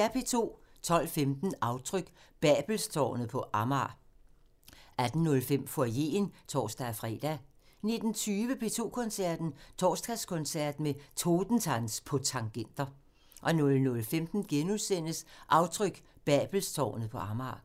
12:15: Aftryk – Babelstårnet på Amager 18:05: Foyeren (tor-fre) 19:20: P2 Koncerten – Torsdagskoncert med Totentanz på tangenter 00:15: Aftryk – Babelstårnet på Amager *